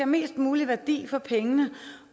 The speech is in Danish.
mest mulig værdi for pengene